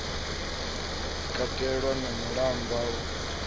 katelwa na malamba a u